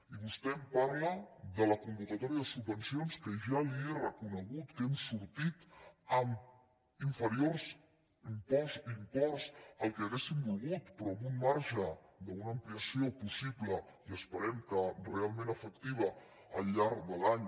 i vostè em parla de la convocatòria de subvenci·ons que ja li he reconegut que hem sortit amb inferiors imports del que hauríem volgut però amb un marge d’una ampliació possible i esperem que realment efec·tiva al llarg de l’any